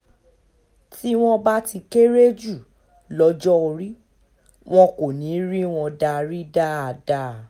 tí wọ́n bá ti kéré jù lọ́jọ́ orí wọn kò ní í rí wọn darí dáadáa